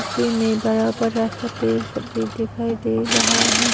पीछे में बड़ा बड़ा सा पेड़ सब भी दिखाई दे रहा है।